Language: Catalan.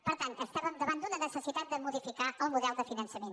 per tant estàvem davant d’una necessitat de modificar el model de finançament